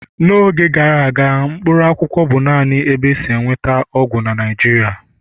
n'oge gara aga, Mkpaakwụkwọ bụ naanị ebe e si enweta ọgwụ na Naịjirịa